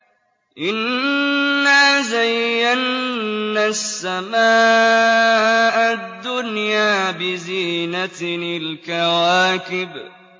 إِنَّا زَيَّنَّا السَّمَاءَ الدُّنْيَا بِزِينَةٍ الْكَوَاكِبِ